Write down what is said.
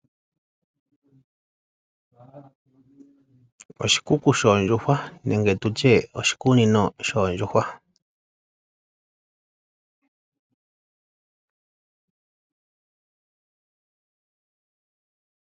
Oshikuku shoo ndjuhwa nenge tutye oshi kunino shoondjuhwa.